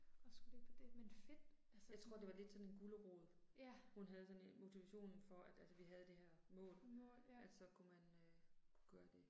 Jeg tror det var lidt sådan en gulerod. Hun havde sådan motivationen for at altså vi havde det her mål at så kunne man øh gøre det